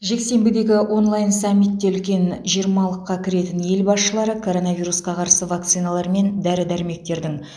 жексенбідегі онлайн саммитте үлкен жиырмалыққа кіретін ел басшылары коронавирусқа қарсы вакциналар мен дәрі дәрмектердің